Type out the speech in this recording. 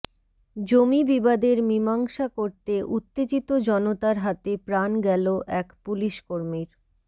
জমি বিবাদের মীমাংসা করতে উত্তেজিত জনতার হাতে প্রাণ গেল এক পুলিশকর্মীর